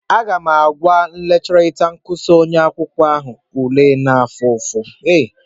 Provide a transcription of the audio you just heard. Aga m agwa lekchọra kọsu ahụ maka akwụkwọ ule m na-efu efu